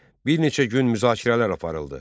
Bir neçə gün müzakirələr aparıldı.